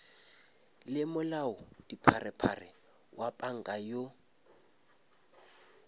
le molaodipharephare wa panka yoo